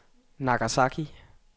Nagasaki